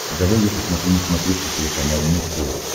давай я посмотрю на смотрешке телеканал муз тв